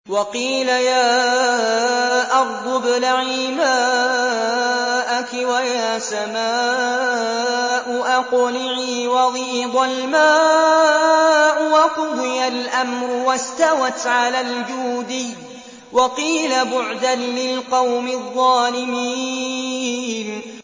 وَقِيلَ يَا أَرْضُ ابْلَعِي مَاءَكِ وَيَا سَمَاءُ أَقْلِعِي وَغِيضَ الْمَاءُ وَقُضِيَ الْأَمْرُ وَاسْتَوَتْ عَلَى الْجُودِيِّ ۖ وَقِيلَ بُعْدًا لِّلْقَوْمِ الظَّالِمِينَ